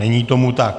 Není tomu tak.